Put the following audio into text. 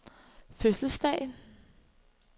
fødselsdag